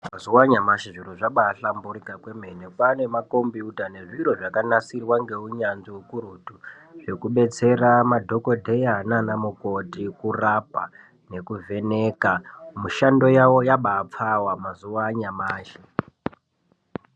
Mazuva anyamashi zviro zvabaahlamburikwa kwemene. Kwaane makombiyuta nezvimwe zvakanasirwa neunyanzvi ukurutu, zvekudetsera madhogodheya nana mukoti kurapa nekuvheneka. Mishando yavo yabaapfawa mazuva anyamashi.